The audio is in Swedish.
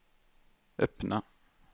öppna